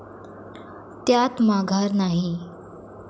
त्यात माघार नाही.